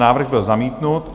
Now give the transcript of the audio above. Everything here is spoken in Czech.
Návrh byl zamítnut.